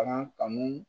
Bagan kanu